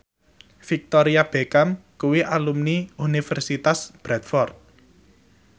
Victoria Beckham kuwi alumni Universitas Bradford